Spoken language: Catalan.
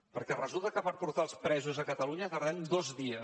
perquè resulta que per portar els presos a catalunya tardem dos dies